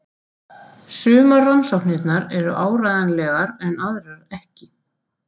Sumar rannsóknirnar eru áreiðanlegar en aðrar ekki.